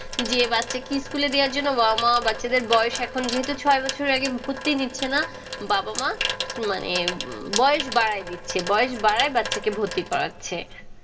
যে বাচ্চাকে school দেওয়ার জন্য বাবা-মা বাচ্চাদের বয়স এখন যেহেতু ছয় বছরের আগে ভর্তি নিচ্ছে না, বাবা-মা মানে বয়স বাড়ায় দিচ্ছে। বয়স বাড়ায় বাচ্চাকে ভর্তি করাচ্ছে।